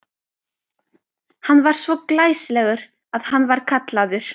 Hann var svo glæsilegur að hann var kallaður